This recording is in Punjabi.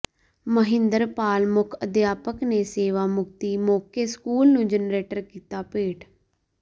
ਮਹਿੰਦਰ ਪਾਲ ਮੁੱਖ ਅਧਿਆਪਕ ਨੇ ਸੇਵਾ ਮੁਕਤੀ ਮੌਕੇ ਸਕੂਲ ਨੂੰ ਜਨਰੇਟਰ ਕੀਤਾ ਭੇਟ